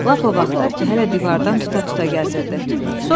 Lap o vaxtlar ki, hələ divardan tuta-tuta gəzirdi.